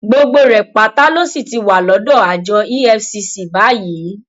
gbogbo rẹ pátá ló sì ti wà lọdọ àjọ efcc báyìí